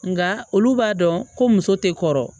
Nka olu b'a dɔn ko muso tɛ kɔrɔ